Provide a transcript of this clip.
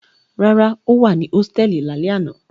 Rárá, ó wà ní hósítẹ́ẹ́lì lálẹ́ àná.